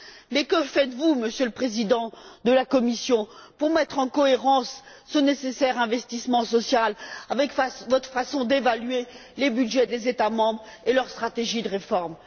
Mais que faites vous, Monsieur le Président de la Commission, pour mettre en cohérence ce nécessaire investissement social avec votre façon d'évaluer les budgets des États membres et leur stratégie de réforme?